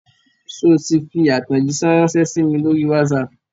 Sọ ti fi àtẹ̀jíṣé ránsẹ́ sí mi lórí WhatsApp?